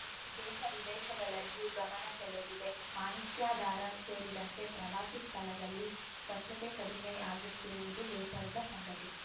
ದೇಶವಿದೇಶಗಳಲ್ಲಿಯೂ ಗಮನ ಸೆಳೆದಿದೆ ಮಾಣಿಕ್ಯಧಾರಾ ಸೇರಿದಂತೆ ಪ್ರವಾಸಿ ಸ್ಥಳದಲ್ಲಿ ಸ್ವಚ್ಚತೆ ಕಡಿಮೆ ಆಗುತ್ತಿರುವುದು ಬೇಸರದ ಸಂಗತಿ